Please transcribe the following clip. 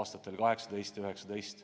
aastatel 2018 ja 2019.